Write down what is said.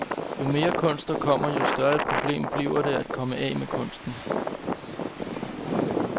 Jo mere kunst der kommer, jo større et problem bliver det at komme af med kunsten.